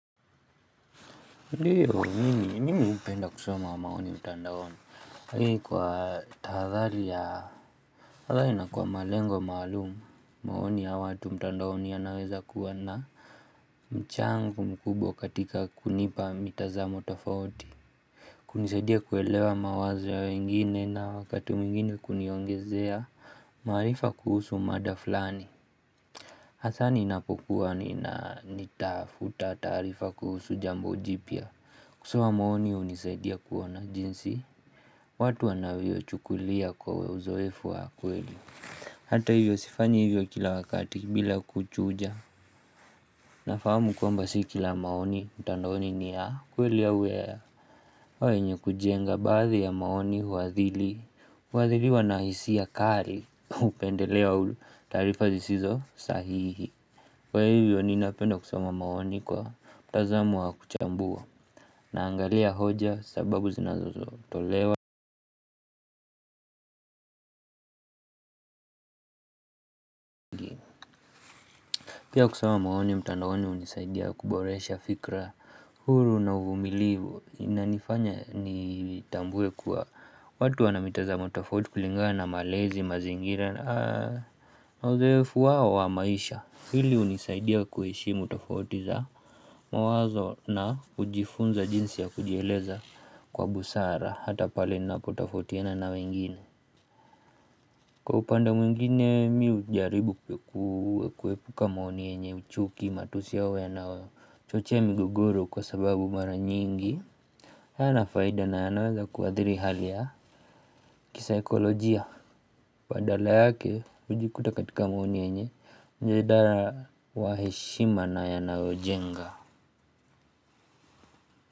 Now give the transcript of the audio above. Ndiyo, mimi? Mimi hupenda kusoma maoni mtandaoni? Kwa tahathari ya tahathari na kwa malengo maalum, maoni ya watu mtandaoni yanaweza kuwa na mchango mkubwa katika kunipa mitazamo tofauti. Kunisaidia kuelewa mawazo ya wengine na wakati mwingine kuniongezea. Maarifa kuhusu mada flani. Hasaa ninapokuwa nina nitafuta taarifa kuhusu jambo jipya. Kusoma maoni hunisaidia kuona jinsi watu wanavyoichukulia kwa we uzoefu wa kweli. Hata hivyo sifanyi hivyo kila wakati bila kuchuja. Nafamu kwamba si kila maoni mtandaoni ni ya kweli ya au ya au yenye kujenga baathi ya maoni huathili huathiliwa na hisia kari upendeleo au taarifa zisizo sahihi. Kwa hivyo ninapenda kusoma maoni kwa mtazamo wa kuchambua. Naangalia hoja sababu zinazozotolewa. Pia kusoma maoni mtandaoni hunisaidia kuboresha fikra huru na uvumilivu inanifanya nitambue kuwa watu wana mitazamo tofauti kulingana na malezi mazingira na ozoefu wao wa maisha. Hili hunisaidia kuheshimu tofauti za mawazo na hujifunza jinsi ya kujieleza kwa busara. Hata pale ninapo tofautiana na wengine. Kwa upande mwingine mi ujaribu kuwe kuwepuka maoni yenye uchuki matusi au yanayochochea migogoro kwa sababu mara nyingi hayana faida na yanaweza kuadhiri hali ya kisaikolojia. Badala yake hujikuta katika maoni yenye jeda na wa heshima na yanayojenga.